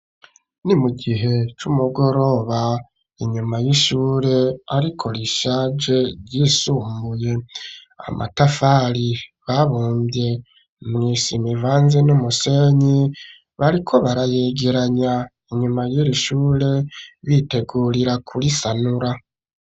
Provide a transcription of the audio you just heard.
Ni mu gihe c'umugoroba ,inyuma y'ishure ariko rishaje ryisumbuye , amatafari abumvye mw'isima ivanze n'umusenyi, bariko barayegeranya inyuma y'iri shure bitegurira kurisanura.